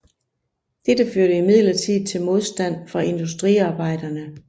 Dette førte imidlertid til modstand fra industriarbejderne